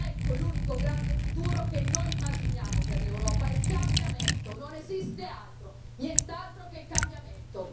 Ecco l'unico grande futuro che noi immaginiamo per l'Europa il cambiamento, non esiste altro, nient'altro che il cambiamento.